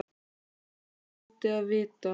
Eins og ég hljóti að vita.